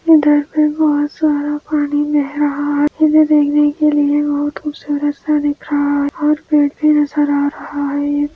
इधर से बहुत सारा पानी बह रहा है उसे देखने के लिये बहुत खूबसूरत सा दिख रहा है और पेड़ भी नजर आ रहा है|